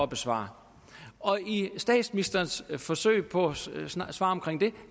besvare og i statsministerens forsøg på at svare